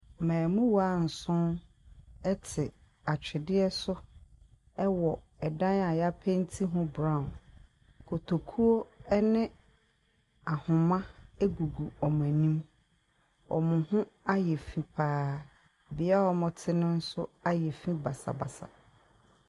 Mmaamuwaa nson te atwedeɛ so wɔ dan a yɛapenti ho brown. Kotokuo ne ahama gugu wɔn anim. Wɔn ho ayɛ fi pa ara. Bea a wɔte no so ayɛ fi basabasa.